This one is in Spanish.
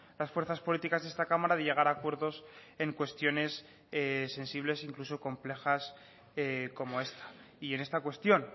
las fuerzas políticas de esta cámara de llegar a acuerdos en cuestiones sensibles incluso complejas como esta y en esta cuestión